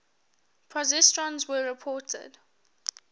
positrons were reported